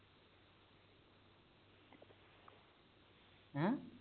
ਹੈ